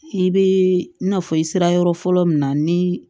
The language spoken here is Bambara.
I bɛ i n'a fɔ i sera yɔrɔ fɔlɔ min na ni